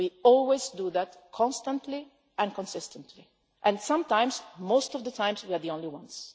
reasons. We always do that, constantly and consistently, and sometimes most of the time we are the only